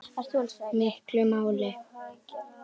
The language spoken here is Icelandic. miklu máli.